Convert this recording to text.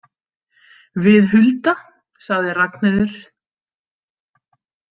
Við Hulda, sagði Ragnheiður.